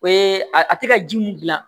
O ye a a tɛ ka ji mun gilan